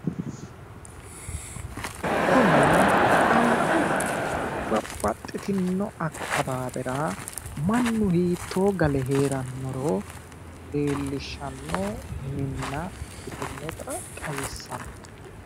kuni babbaxxitinno akkawaawera mannu hiittto gale heerannoro leellishshanno minna ikkitinota xawissanno